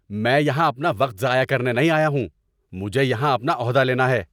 میں یہاں اپنا وقت ضائع کرنے نہیں آیا ہوں! مجھے یہاں اپنا عہدہ لینا ہے۔